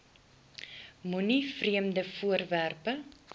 moenie vreemde voorwerpe